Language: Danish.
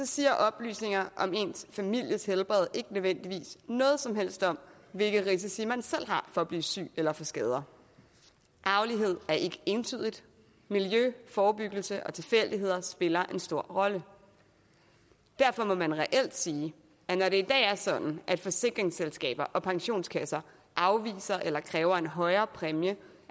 siger oplysninger om ens families helbred ikke nødvendigvis noget som helst om hvilke risici man selv har for at blive syg eller få skader arvelighed er ikke entydigt miljø forebyggelse og tilfældigheder spiller en stor rolle derfor må man reelt sige at når det i dag er sådan at forsikringsselskaber og pensionskasser afviser eller kræver en højere præmie